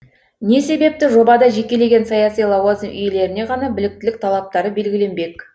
не себепті жобада жекелеген саяси лауазым иелеріне ғана біліктілік талаптары белгіленбек